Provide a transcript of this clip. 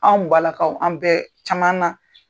Anw balakaw an bɛɛ caman na.